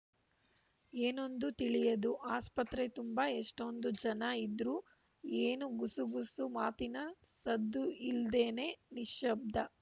ಏನೊಂದು ತಿಳಿಯದು ಆಸ್ಪತ್ರೆ ತುಂಬಾ ಎಷ್ಟೊಂದು ಜನ ಇದ್ರೂ ಏನು ಗುಸು ಗುಸು ಮಾತಿನ ಸದ್ದುಯಿಲ್ದೆನೇ ನಿಶ್ಯಬ್ದ